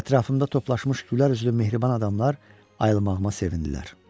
Ətrafımda toplaşmış gülərüzlü mehriban adamlar ayılmağıma sevindilər.